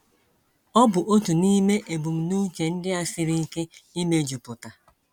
Ọ bụ otu n’ime ebumnuche ndị a siri ike ịmejuputa.